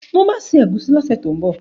Mo ma se ẹ̀gúsí lọ́sẹ̀ tó ń bọ̀